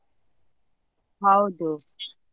ಹೌದು.